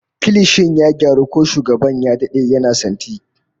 Kilishin ya gyaru, ko shugaban ya dade yana santi